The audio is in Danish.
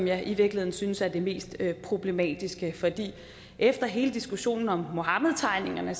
jeg i virkeligheden synes er det mest problematiske for efter hele diskussionen om muhammedtegningerne